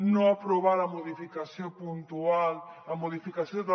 no aprovar la modificació puntual la modificació de